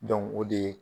o de ye